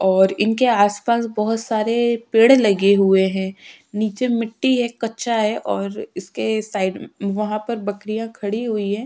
और इनके आस-पास बहुत सारे पेड़ लगे हुए हैं नीचे मिट्टी है कच्चा है और इसके साइड वहाँ पर बकरियाँ खड़ी हुई हैं।